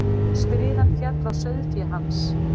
Skriðan féll á sauðféð hans.